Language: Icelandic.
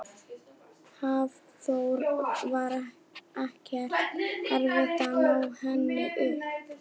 Hafþór: Var ekkert erfitt að ná henni upp?